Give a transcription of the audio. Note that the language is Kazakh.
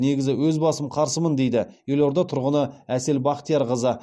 негізі өз басым қарсымын дейді елорда тұрғыны әсел бақтиярқызы